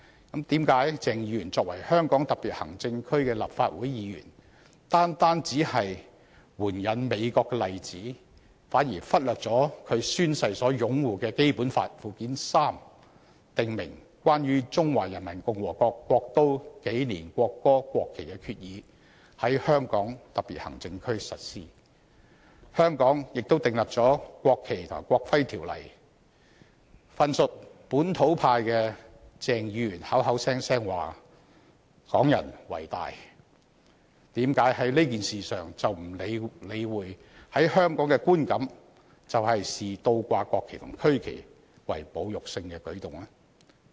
為何鄭議員作為香港特別行政區的立法會議員，只是援引美國的例子，反而忽略了他宣誓擁護的《基本法》附件三訂明在香港特別行政區實施的《關於中華人民共和國國都、紀年、國歌、國旗的決議》，以及香港已訂立的《國旗及國徽條例》？份屬本土派的鄭議員口口聲聲說"港人為大"，為何在這件事上卻不理會在香港的觀感是視倒掛國旗和區旗為侮辱性的舉動？